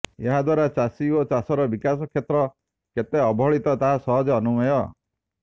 ଏହାଦ୍ୱାରା ଚାଷୀ ଓ ଚାଷର ବିକାଶ କ୍ଷେତ୍ର କେତେ ଅବହେଳିତ ତାହା ସହଜେ ଅନୁମେୟ